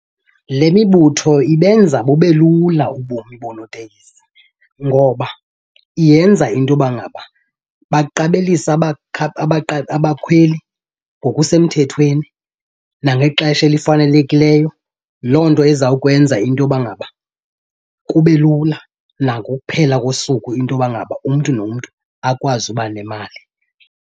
Le mibutho ibenza bube lula ubomi boonoteksi ngoba yenza into yoba ngaba baqabelise abakhweli ngokusemthethweni nangexesha elifanelekileyo. Loo nto ezawukwenza into yoba ngaba kube lula nakokuphela kosuku into yoba ngaba umntu nomntu akwazi uba nemali.